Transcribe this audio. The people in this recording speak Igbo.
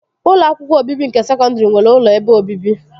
Ụlọ akwụkwọ obibi nke sekọndri nwere ụlọ ebe obibi